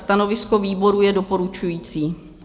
Stanovisko výboru je doporučující.